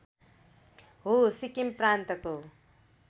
हो सिक्किम प्रान्तको